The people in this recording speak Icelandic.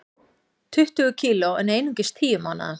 Tuttugu kg en einungis tíu mánaða